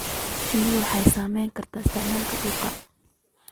Shinnidu waxay saamayn kartaa isticmaalka dhulka.